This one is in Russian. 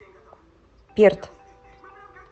перт